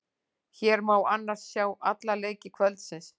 Hér má annars sjá alla leiki kvöldsins.